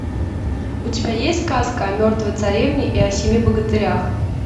у тебя есть сказка о мертвой царевне и о семи богатырях